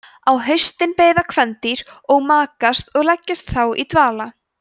á haustin beiða kvendýrin og makast og leggjast þá í dvala